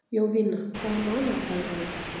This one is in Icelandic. Jovina, hvaða mánaðardagur er í dag?